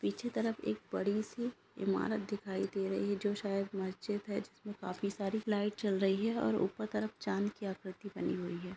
पीछे तरफ एक बड़ी सी इमारत दिखाई दे रही है जो शायद मस्जिद है जिसमें काफी सारी लाइट जल रही हैं और ऊपर चांद की आकृति बनी हुई है।